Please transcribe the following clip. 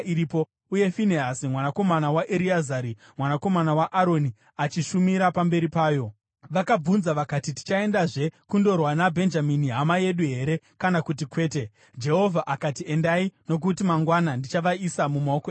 Uye Finehasi mwanakomana waEreazari, mwanakomana waAroni, achishumira pamberi payo.) Vakabvunza vakati, “Tichaendazve kundorwa naBhenjamini hama yedu here kana kuti kwete?” Jehovha akati, “Endai, nokuti mangwana ndichavaisa mumaoko enyu.”